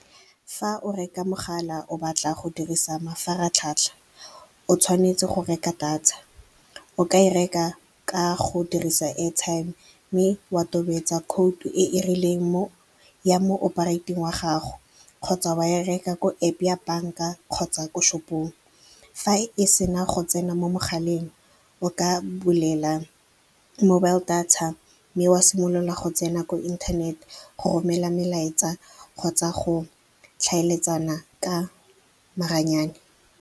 Fa o reka mogala o batla go dirisa mafaratlhatlha, o tshwanetse go reka data. O ka e reka ka go dirisa airtime mme wa tobetsa code-u e e rileng ya mo operate-eng wa gago, kgotsa wa ya reka ko App ya banka kgotsa ko shop-ong. Fa e sena go tsena mo mogaleng, o ka bulela mobile data mme wa simolola go tsena ko inthanete go romela melaetsa kgotsa go tlhaeletsana ka maranyane.